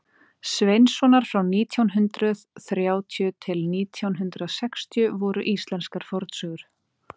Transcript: sveinssonar frá nítján hundrað þrjátíu til nítján hundrað sextíu voru íslenskar fornsögur